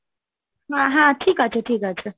হ্যাঁ, হ্যাঁ ঠিক আছে, ঠিক আছে,